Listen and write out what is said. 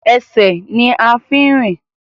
Ẹsẹ̀ ní a fi ń rìn.